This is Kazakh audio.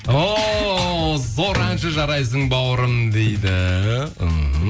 о зор әнші жарайсың бауырым дейді мхм